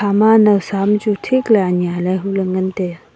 ama nawsa am chu thik ley anya ley huley ngan tai aa.